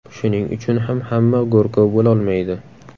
Shuning uchun ham hamma go‘rkov bo‘lolmaydi.